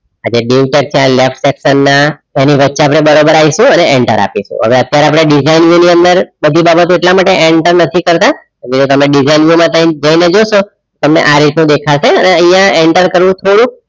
આજે dieu tag ના left section ના એની વચ્ચે આપણે બરોબર આવીશું અને enter આપીશું હવે અત્યારે આપણે design view ની અંદર બધી બાબતો એટલા માટે enter નથી કરતા તમે design view માં જઈને જોશો તમને આ રીતનું દેખાશે અને અહીંયા enter કરવું થોડુક